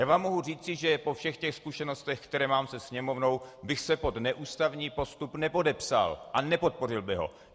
Já vám mohu říci, že po všech těch zkušenostech, které mám se Sněmovnou, bych se pod neústavní postup nepodepsal a nepodpořil bych ho.